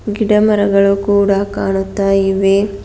ಗಿಡ ಮರಗಳು ಕೂಡ ಕಾಣುತ್ತಾ ಇವೆ.